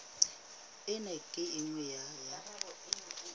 ena ke e nngwe ya